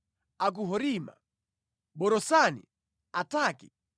a ku Horima, Borasani, Ataki,